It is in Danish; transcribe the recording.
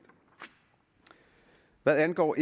hvad angår